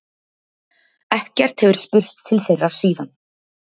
Ekkert hefur spurst til þeirra síðan